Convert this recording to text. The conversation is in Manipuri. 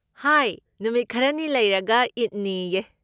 ꯍꯥꯏ, ꯅꯨꯃꯤꯠ ꯈꯔꯅꯤ ꯂꯩꯔꯒ ꯏꯗꯅꯤꯌꯦ꯫